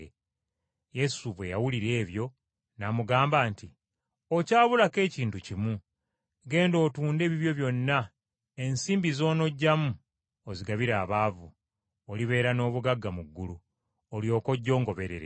Yesu bwe yawulira ebyo, n’amugamba nti, “Okyabulako ekintu kimu. Genda otunde ebibyo byonna, ensimbi z’onoggyamu ozigabire abaavu, olibeera n’obugagga mu ggulu, olyoke ojje ongoberere.”